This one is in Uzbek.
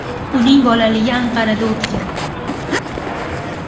Uning bolaligi Anqarada o‘tgan.